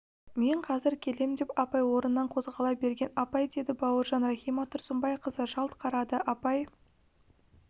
мен қазір келем деп апай орнынан қозғала берген апай деді бауыржан рахима тұрсынбайқызы жалт қарады апай